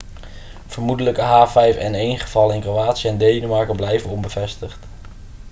vermoedelijke h5n1-gevallen in kroatië en denemarken blijven onbevestigd